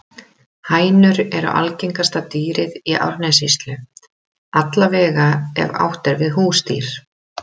Hænur eru algengasta dýrið í Árnessýslu, alla vega ef átt er við húsdýr.